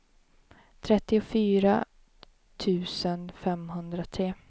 trettiofyra tusen femhundratre